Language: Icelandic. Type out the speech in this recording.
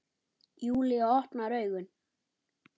Júlía opnar augun.